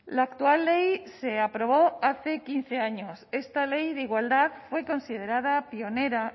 la actual ley se aprobó hace quince años esta ley de igualdad fue considerada pionera